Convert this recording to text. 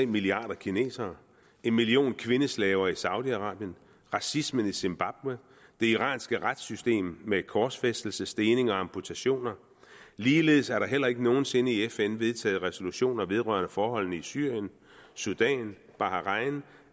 milliarder kinesere en million kvindeslaver i saudi arabien racismen i zimbabwe det iranske retssystem med korsfæstelse stening og amputationer ligeledes er der heller ikke nogen sinde i fn vedtaget resolutioner vedrørende forholdene i syrien sudan bahrain